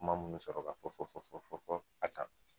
Kuma mun mi sɔrɔ ka fɔ fɔ fɔ a kan